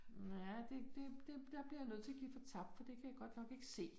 Ja, det det det der bliver jeg nødt til at give fortabt, for det kan jeg godt nok ikke se